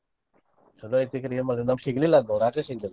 ಚೊಲೋ ಐತಿ ಕರೆ ಏನ ಮಾಡೋದ್ ನಮ್ಗ ಸಿಗ್ಲಿಲ್ಲ ಅದ last ಸಿಗಲಿಲ್ಲ.